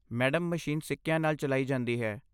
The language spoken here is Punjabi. ਮੈਡਮ, ਮਸ਼ੀਨ ਸਿੱਕਿਆਂ ਨਾਲ ਚਲਾਈ ਜਾਂਦੀ ਹੈ।